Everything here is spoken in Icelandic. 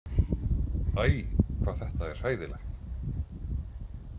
Æ, hvað þetta er hræðilegt